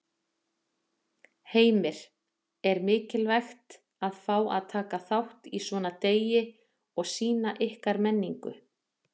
Heimir: Er mikilvægt að fá að taka þátt í svona degi og sýna ykkar menningu?